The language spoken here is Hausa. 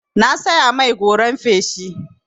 Na saya mai goran feshi.